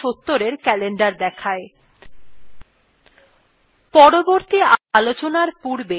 এইটি december ২০৭০এর calendar দেখায়